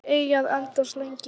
Þeir eiga að endast lengi.